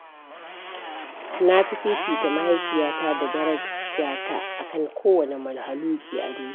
Na fi fifita mahaifiyata da darajta akan kowane mahaluƙi a duniya.